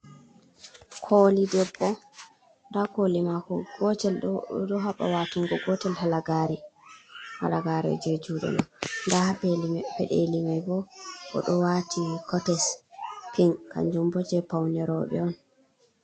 Koli debbo nda koli mako gotel ɗo haɓa watungo gotel halagare. Nda ha pedeli maibo o ɗo wati cotes pink kanjum bo je paunerobe on.